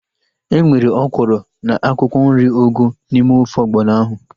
Enwere ọkwụrụ na akwụkwọ nri ugu n'ime ofe ọgbọnọ ahu